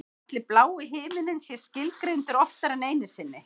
Ætli blái himininn sé skilgreindur oftar en einu sinni?